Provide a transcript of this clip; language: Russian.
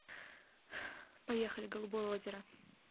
поехали голубое озеро